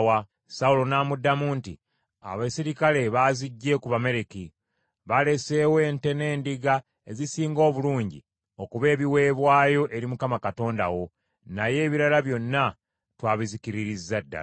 Sawulo n’amuddamu nti, “Abaserikale baaziggye ku Bamaleki. Baaleseewo ente n’endiga ezisinga obulungi okuba ebiweebwayo eri Mukama Katonda wo, naye ebirala byonna twabizikiririzza ddala.”